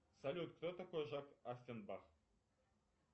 салют кто такой жак оффенбах